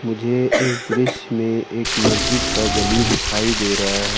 मुझे इस दृश्य में एक मस्जिद का गली दिखाई दे रहा है।